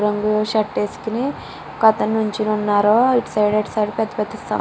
రంగు షర్ట్ వేసుకొని ఒక అతను నిలుచొని వున్నారు ఇటు సైడ్ అటు సైడ్ పెద్ద పెద్ద --